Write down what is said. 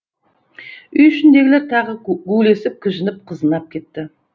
үй ішіндегілер тағы гулесіп кіжініп қызынып кетті